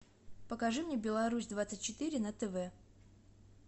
покажи мне беларусь двадцать четыре на тв